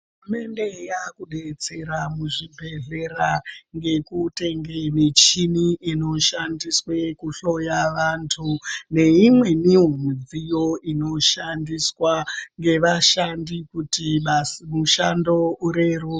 Hurumende yaakudetsera muzvibhedhlera, ngekutenge michini inoshandiswe kuhloya vantu, neimweniwo mudziyo inozooshandiswa, ngevashandi kuti basa mushando ureru.. .